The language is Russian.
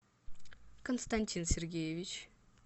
константин сергеевич